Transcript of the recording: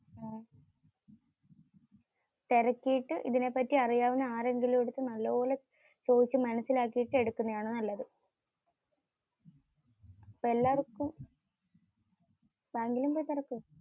തിരക്കിയിട്ടു, ഇതിനെപറ്റി അറിയാവുന്ന ആരോടെങ്കിലും നല്ളൊണം ചോയ്ച്ചു മനസിലാക്കിയിട്ടു എടുക്കുന്നതാണ് നല്ലതു.